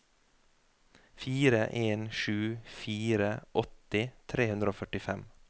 fire en sju fire åtti tre hundre og førtifem